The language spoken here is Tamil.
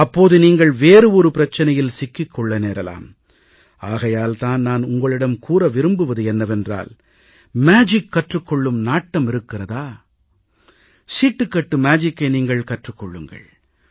அப்போது நீங்கள் வேறு ஒரு பிரச்சினையில் சிக்கிக் கொள்ள நேரலாம் ஆகையால் தான் நான் உங்களிடம் கூற விரும்புவது என்னவென்றால் மேஜிக் கற்றுக் கொள்ளும் நாட்டம் இருக்கிறதா சீட்டுக்கட்டு மேஜிக்கை நீங்கள் கற்றுக் கொள்ளுங்கள்